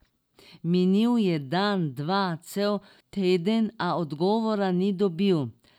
Minil je dan, dva, cel teden, a odgovora ni dobil.